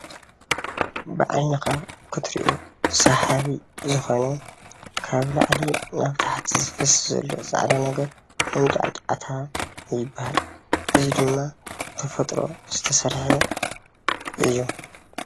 ብዓይንካ ክትሪኦ ስሓቢ ዝኾነ ካብ ላዕሊ ናብ ታሕቲ ዝፈስስ ዘሎ ጻዕዳ ነገር መንጫዕጫዕታ ይበሃል። እዚ ድማ ብተፈጥሮ ዝተሰርሓ እዩ።